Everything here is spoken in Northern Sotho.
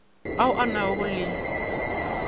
ao a na go le